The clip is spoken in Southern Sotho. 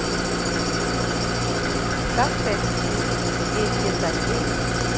ka fekse di ke ke